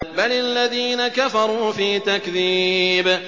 بَلِ الَّذِينَ كَفَرُوا فِي تَكْذِيبٍ